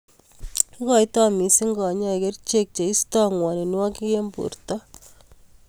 Ikoitoi missing kanyoik kerchek cheistoi ng'woninwokik eng borto.